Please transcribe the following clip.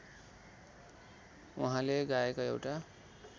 उहाँले गाएका एउटा